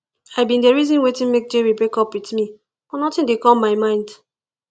i bin dey reason wetin make jerry break up with me but nothing dey come my mind